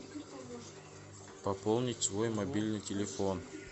пополнить свой мобильный телефон